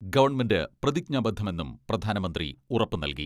Government പ്രതിജ്ഞാബദ്ധമെന്നും പ്രധാനമന്ത്രി ഉറപ്പുനൽകി.